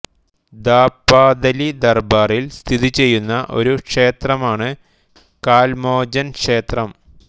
ഥാപാഥലി ദർബാറിൽ സ്ഥിതിചെയ്യുന്ന ഒരു ക്ഷേത്രമാണ് കാൽ മോചൻ ക്ഷേത്രം